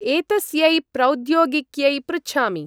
एतस्यै प्रौद्योगिक्यै पृच्छामि।